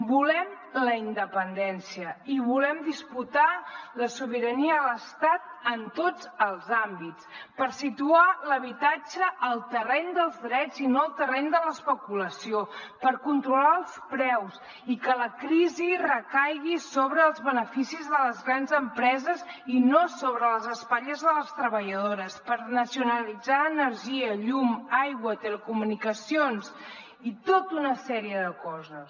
volem la independència i volem disputar la sobirania a l’estat en tots els àmbits per situar l’habitatge al terreny dels drets i no al terreny de l’especulació per controlar els preus i que la crisi recaigui sobre els beneficis de les grans empreses i no sobre les espatlles de les treballadores per nacionalitzar energia llum aigua telecomunicacions i tota una sèrie de coses